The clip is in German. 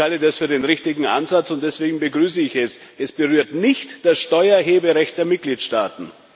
Ich halte das für den richtigen Ansatz, und deswegen begrüße ich es. Es berührt nicht das Steuererheberecht der Mitgliedstaaten.